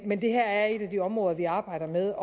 men det her er et af de områder vi arbejder med